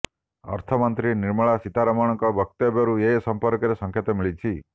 ଅର୍ଥମନ୍ତ୍ରୀ ନିର୍ମଳା ସୀତାରମଣଙ୍କ ବକ୍ତବ୍ୟରୁ ଏ ସମ୍ପର୍କରେ ସଙ୍କେତ ମିଳିଛି